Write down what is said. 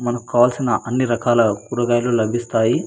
మనకు కావాల్సిన అన్ని రకాల కూరగాయలు లభిస్తాయి.